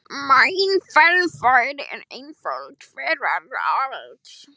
Mín fagurfræði er einföld fegrar allt